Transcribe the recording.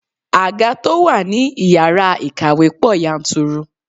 Àga to wá ní ìyára ìkàwé pò yanturu.